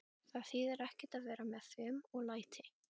Það þýðir ekkert að vera með fum og læti.